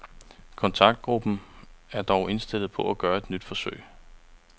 Kontaktgruppen er dog indstillet på at gøre et nyt forsøg.